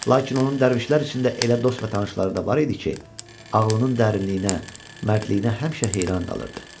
Lakin onun dərvişlər içində elə dost və tanışları da var idi ki, ağlının dərinliyinə, mərdliyinə həmişə heyran qalırdı.